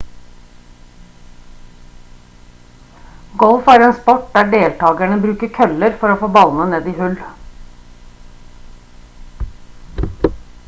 golf er en sport der deltakerne bruker køller for å få ballene ned i hull